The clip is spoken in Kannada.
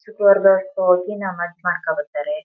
ಶುಕ್ರವಾರದ ಒಳಕ್ಕೆ ಹೋಗಿ ನಮಾಜ್ ಮಾಡ್ಕ ಬರತಾರೆ.